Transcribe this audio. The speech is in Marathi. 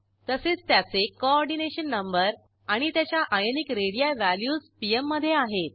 तसेच त्याचे कोऑर्डिनेशन नंबर आणि त्याच्या आयोनिक रेडी व्हॅल्यूज पीएम मधे आहेत